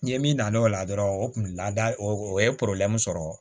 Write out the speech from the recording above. Ni min na na o la dɔrɔn o kun lada o ye sɔrɔ